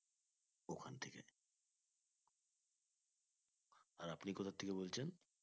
আর আপনি কোথা থেকে বলছেন